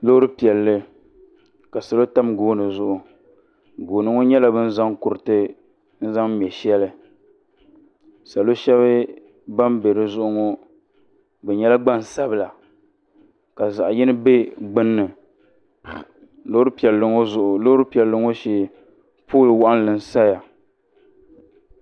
Loori pielli. ka Salo tam gooni zuɣu. Gooni ŋɔ nyela bɛ ni zaŋ kuriti n zaŋ mɛ sheli. Salo sheli ban be dizuɣu ŋɔ bɛ nyela gban sabila ka zaɣi yini be gbunni. Loori pielli ŋɔ shee pool waɣinli N saya.